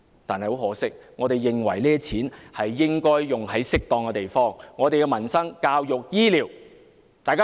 不過，我們認為這些錢應用於適當的地方，例如民生、教育、醫療。